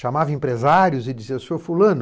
Chamava empresários e dizia, seu fulano,